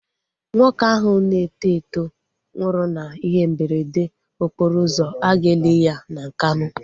Nwoke ahụ na-eto eto nwụrụ na ihe mberede okporo ụzọ, aga eli ya na Nkanu